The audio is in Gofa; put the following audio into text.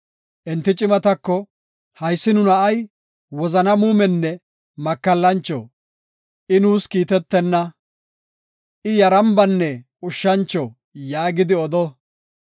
Enti cimatako, “Haysi nu na7ay wozana muumenne makallancho; I nuus kiitetenna; I yarambanne ushshancho” yaagidi odo.